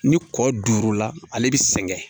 Ni kɔ duuru la ale bɛ sɛgɛn